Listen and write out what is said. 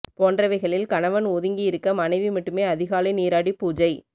போன்றவைகளில் கணவன் ஒதுங்கி இருக்க மனைவி மட்டுமே அதிகாலை நீராடி பூஜை